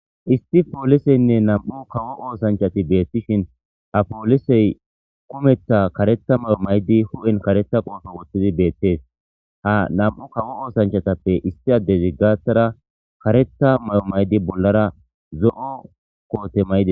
Issi polisenne nam'u kawo osanachati betishen ha polisey kumetha karetha mayo mayidi hu'en karetha qofe wothidi betese ha nam'u kawo osanachati issi adezi gathara karetha mayo mayidi bollara zo'o kote mayides